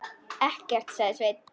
Ekkert, sagði Sveinn.